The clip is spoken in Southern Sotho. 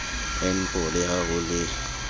npo le ha ho le